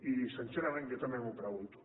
i sincerament jo també m’ho pregunto